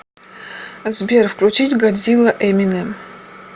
сбер включить годзилла эминем